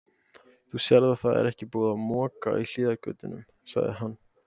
Þú sérð að það er ekki búið að moka í hliðargötunum, sagði hann.